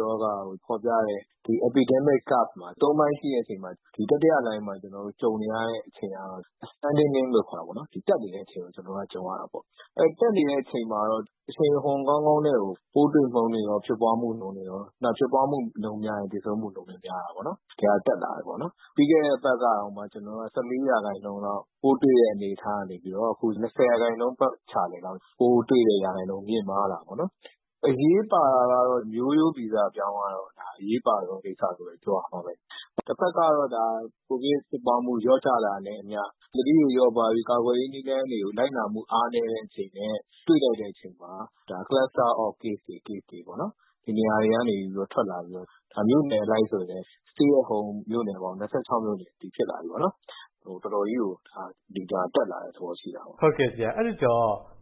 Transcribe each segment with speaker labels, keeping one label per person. Speaker 1: ရောဂါကို ဖော်ပြတဲ့ Epidemic Curve မှာ သုံးပိုင်းရှိတဲ့အချိန်မှာ တတိယလှိုင်းမှာ ကြုံနေရတဲ့အချိန်က တက်နေတဲ့အချိန်ကို ကျေနာ်တို့ ကြုံရတာပေါ့။ တက်နေတဲ့အချိန်မှာတော့ အရှိန်အဟုန် ကောင်းကောင်းနဲ့ကို ပိုးတွေ့နှုန်းတွေရော ဖြစ်ပွားမှုနှုန်းတွေရော၊ ဖြစ်ပွားမှုနှုန်းများရင် သေဆုံးမှုနှုန်းလည်း များတာပေါ့။ ဒီဟာ တက်လာတယ်ပေါ့။ ပြီးခဲ့တဲ့အပတ်ကတောင် ၁၄ ရာခိုင်နှုန်းလောက် ပိုးတွေ့တဲ့ အနေအထားကနေ အခု ၂၀ ရာခိုင်နှုန်း ပတ်ချာလည်လောက် ပိုးတွေ့တဲ့ရာခိုင်နှုန်း မြင့်မားလာတယ်။ အရေးပါတာကတော့ မျိုးရိုးဗီဇပြောင်းသွားတာ အရေးပါဆုံးကိစ္စလို့ ပြောရမှာပဲ။ တဖက်ကတော့ ကိုဗစ်ဖြစ်ပွားမှု လျော့ကျလာတာနဲ့အမျှ သတိတွေ လျော့ပါးပြီး ကာကွယ်ရေးနည်းလမ်းတွေ လိုက်နာမှု အားနည်းတဲ့အချိန်နဲ့ တွေ့လိုက်တဲ့အချိန်မှာ Cluster of Case တွေပေါ့၊ ဒီနေရာတွေကနေ ထွက်လာပြီးတော့ မြို့နယ်အလိုက်ဆိုရင်လည်း Stay At Home မြို့နယ်ပေါင်း ၂၆ မြို့နယ်အထိ ဖြစ်လာပြီပေ့ါ။ တော်တော်ကြီးကို Data တက်လာတဲ့သဘော ရှိတာပေါ့
Speaker 2: ။” ကိုဝင်းမင်း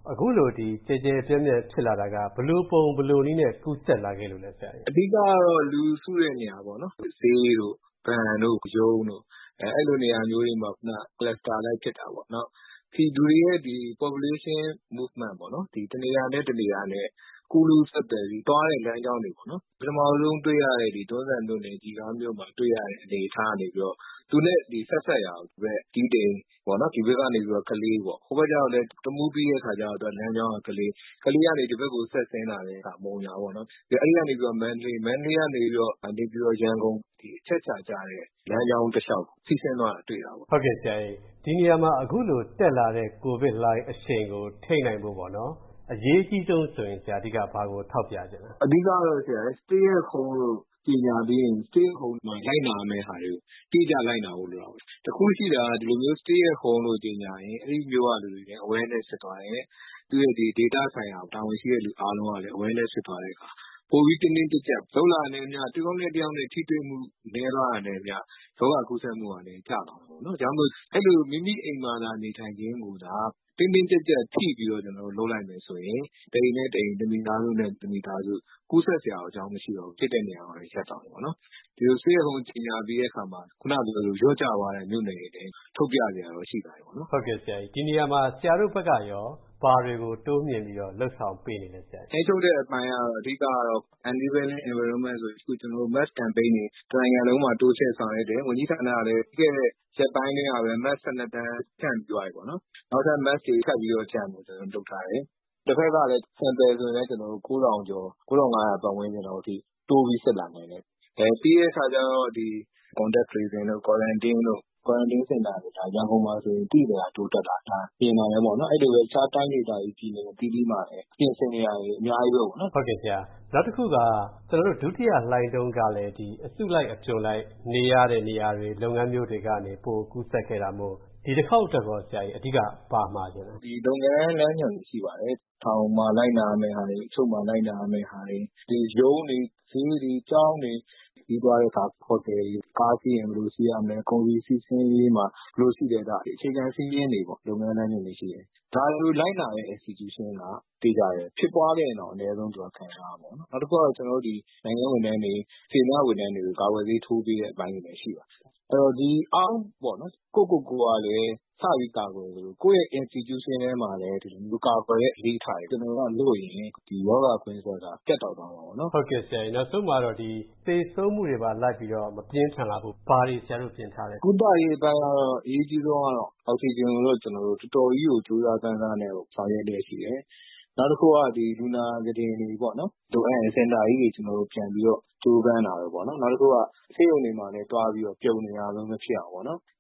Speaker 2: - အခုလို ကျယ်ကျယ်ပြန့်ပြန့် ဖြစ်လာတာက ဘယ်လိုပုံ ဘယ်လိုနည်းနဲ့ ကူးစက်လာခဲ့လို့လဲဆရာ
Speaker 1: ။ ဒေါက်တာသန်းနိုင်စိုး - “အဓိကတော့ လူစုတဲ့နေရာပေါ့၊ ဈေးတို့ ဘဏ်တို့ ရုံးတို့ အဲဒီလိုနေရာမျိုးတွေမှာ Cluster အလိုက် ဖြစ်တာပေါ့။ လူတွေရဲ့ Population Movement ပေါ့၊ တနေရာနဲ့ တနေရာ ကူးလူးဆက်သွယ်ပြီး သွားတဲ့လမ်းကြောင်းတွေပေါ့၊ ပထမဆုံးတွေ့ရတဲ့ တွန်းဇံမြို့နယ် ကျီခါးမြို့မှာ တွေ့ရတဲ့ အနေအထားကနေပြီးတော့ သူနဲ့ဆက်စပ်ရာ တီးတိန်၊ ဒီဘက်ကနေ ကလေး၊ ဟိုဘက်ကျတော့လည်း တမူးပြီးတော့ လမ်းကြောင်းက ကလေး၊ ကလေးကနေ ဒီဘက် ဆက်ဆင်းလာတဲ့အခါ မုံရွာ၊ အဲဒီကနေ မန္တလေး၊ မန္တလေးကနေ နေပြည်တော်၊ ရန်ကုန်၊ အချက်အချာကျတဲ့ လမ်းကြောင်းတလျှောက် စီးဆင်းသွားတာ တွေ့ရတယ
Speaker 2: ်။” ကိုဝင်းမင်း - ဒီနေရာမှာ အခုလို တက်လာတဲ့ ကိုဗစ်လှိုင်း အရှိန်ကို ထိန်းနိုင်ဖို့ အရေးအကြီးဆုံးဆိုရင် ဆရာ အဓိက ဘာကို ထောက်ပြချင်ပါလ
Speaker 1: ဲ။ ဒေါက်တာသန်းနိုင်စိုး - “အဓိကတော့ Stay At Home လို့ ကြေညာပြီးရင် Stay At Home မှာ လိုက်နာရမယ့်ဟာတွေကို အတိအကျ လိုက်နာဖို့ လိုတာပေါ့။ တခုရှိတာက ဒီလိုမျိုး Stay At Home လို့ ကြေညာရင် အဲဒီမြို့က လူတွေ Awareness ဖြစ်သွားတယ်။ သူ့ရဲ့ ဒေသဆိုင်ရာ တာဝန်ရှိတဲ့သူ အားလုံးကလည်း Awareness ဖြစ်သွားတဲ့အခါ ပိုပြီး တင်းတင်းကျပ်ကျပ် လုပ်လာနိုင်သမျှ တယောက်နဲ့တယောက် ထိတွေ့မှု နည်းသွားတာနဲ့အမျှ ရောဂါကူးစက်မှုလည်း ကျလာမှာပေါ့။ ဒါကြောင့် အဲဒီလို မိမိအိမ်မှာသာ နေထိုင်ခြင်းကိုသာ တင်းတင်းကျပ်ကျပ် ဖိပြီးတော့ လုပ်လိုက်မယ်ဆိုရင် တအိမ်နဲ့တအိမ်၊ တမိသားစုနဲ့ တမိသားစု ကူးစက်စရာအကြောင်း မရှိတော့ဘူး။ ဖြစ်တဲ့နေရာမှာပဲ ရပ်သွားမယ်။ ဒီလို Stay At Home ကြေညာပြီးတဲ့အခါမှာ လျော့ကျသွားတဲ့ မြို့နယ်တွေလည်း ထုတ်ပြစရာတော့ ရှိလာ
Speaker 2: ပြီ။” ကိုဝင်းမင်း - ဒီနေရာမှာ ဆရာတို့ဘက်ကရော ဘာတွေ တိုးမြှင့်ပြီး လုပ်ဆောင်ပေးနေလဲ။ ဒေါက်တာသန်းနိုင်စိုး - “ထ
Speaker 1: ိန်းချုပ်တဲ့အပိုင်းကတော့ အဓိကတော့ Enabling Environment ဆိုပြီး အခု Mask ကမ်ပိန်းတွေ တနိုင်ငံလုံးမှာ တိုးချဲ့ဆောင်ရွက်တယ်။ ဝန်ကြီးဌာနကလည်း ပြီးခဲ့တဲ့ရက်ပိုင်းအတွင်းကပဲ Mask ၁၂ သန်း ဖြန့်ပြီးသွားပြီ။ နောက်ထပ် Mask တွေ ထပ်ပြီးဖြန့်ဖို့ လုပ်ထားတယ်။ တဖက်ကလည်း Sample ဆိုလည်း ၉,၀၀၀ ကျော်၊ ၉,၅၀၀ ပတ်ဝန်းကျင်လောက်အထိ တိုးပြီး စစ်လာနိုင်တယ်။ ပြီးတော့ Contact Tracing တို့ Quarantine တို့ Quarantine စင်တာဆို ရန်ကုန်မှာဆိုရင် သိသိသာသာ တိုးတက်လာတာ မြင်နိုင်တယ်။ အဲဒီလိုပဲ တခြား တိုင်းဒေသကြီး ပြည်နယ်အသီးသီးမှာလည်း ပြင်ဆင်နေတာတွေ အများကြီးပဲ။” ကိုဝင်းမင်း - နောက်တခုက ဒုတိ
Speaker 2: ယလှိုင်းတုန်းကလည်း အစုလိုက် အပြုံလိုက် နေရတဲ့ နေရာတွေ၊ လုပ်ငန်းမျိုးတွေကနေ ပိုကူးစက်ခဲ့တာမို့ ဒီတခေါက်အတွက်ရော အဓိက ဘာမှာချင်လဲ။ ဒေါက်တာသန်းနိုင်စိုး - “လုပ်ငန်းလမ်းညွှန်တွေ ရှိပ
Speaker 1: ါတယ်။ ထောင်မှာ လိုက်နာရမယ့်ဟာတွေ၊ အချုပ်မှာ လိုက်နာရမယ့်ဟာတွေ၊ ရုံးတွေ၊ ဈေးတွေ၊ ကျောင်းတွေ၊ ခရီးသွားတဲ့အခါ ကားစီးရင် ဘယ်လိုစီးရမယ်၊ ကုန်စည်စီးဆင်းရေးမှာ ဘယ်လိုရှိတယ်၊ စသည် အခြေခံစည်းမျဉ်းတွေပေါ့၊ လုပ်ငန်းလမ်းညွှန်တွေရှိတယ်။ ဒါတွေကို လိုက်နာတဲ့ Institution က သေချာတယ်၊ ဖြစ်ပွားခဲ့ရင်တောင် အနည်းဆုံး ခံစားရမယ်။ နောက်တခုက နိုင်ငံဝန်ထမ်းတွေ၊ စေတနာ့ဝန်ထမ်းတွေကို ကာကွယ်ဆေး ထိုးပေးတဲ့ အပိုင်းတွေလည်း ရှိပါတယ်။ အဲဒီတော့ ကိုယ့်ကိုယ်ကိုလည်း စပြီး ကာကွယ်သလို ကိုယ့်ရဲ့ Institution ထဲမှာလည်း ဒီလို ကာကွယ်တဲ့အလေ့အထတွေ လုပ်ရင် ဒီရောဂါ ကွင်းဆက်က ပြတ်တောက်သွားမှာ
Speaker 2: ပေါ့။” ကိုဝင်းမင်း - နောက်ဆုံး သေဆုံးမှုတွေမှာ လိုက်ပြီး မပြင်းထန်လာဖို့ ဘာတွေပြင်ထားလဲ။ ဒေါက်တာသန်းနိုင်စိုး - “ကု
Speaker 1: သရေးအပိုင်းကတော့ အရေးအကြီးဆုံးကတော့ အောက်စီဂျင်ကိုတော့ ကျနော်တို့ တော်တော်ကြီးကို ကြိုးစားပမ်းစားနဲ့ ဆောင်ရွက်လျက်ရှိတယ်။ နောက်တခုက လူနာခုတင်တွေပေါ့၊ လိုအပ်ရင် စင်တာကြီးတွေ ပြန်ပြီးတော့ ကြိုးပမ်းတာမျိုးပေါ့ နောက်တခုက ဆေးရုံတွေမှာလည်း သွားပြီးတော့ ပြုံနေတာမျိုး မဖြစ်အောင်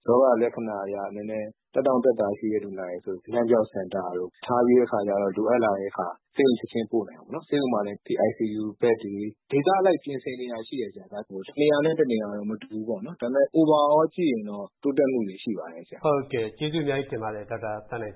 Speaker 1: ရောဂါလက္ခဏာအရ နည်းနည်း သက်သောင့်သက်သာရှိတဲ့ လူနာတွေဆို အနံ့ပျောက်စင်တာတို့ ထားပြီးတဲ့အခါ လိုအပ်လာတဲ့အခါ ဆေးရုံချက်ချင်း ပို့နိုင်အောင်ပေါ့၊ ဆေးရုံမှာလည်း ICU ဘက်တွေ၊ ဒေသအလိုက် ပြင်ဆင်နေတာ ရှိပါတယ်။ တနေရာနဲ့ တနေရာတော့ မတူဘူးပေါ့။ ဒါပေမယ့် Overall ကြည့်ရင်တော့ တိုးတက်မှုတွေ ရှိပါတယ်။” ကို
Speaker 2: ဝင်းမင်း - ဟုတ်ကဲ့၊ ကျေးဇူးအများကြီးတင်ပါတယ် ဒေါက်တာသန်းနိုင်